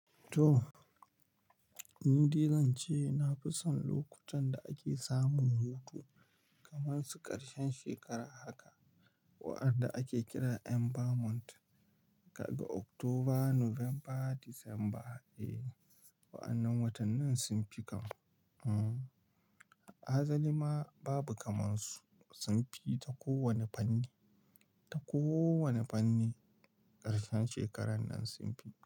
To, ni dai zan ce na fi son lokutan da ake samun hutu kamar su ƙarshen shekara haka, waɗanda ake kira "end of month", daga Oktoba, Nuwamba, Disamba. E, wa'annan watannin sun fi kam. Hmm, asali ma babu kamar su, sun fi ta kowane fanni, ta kowane fanni ƙarshen shekarar nan sun fi.